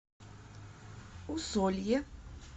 усолье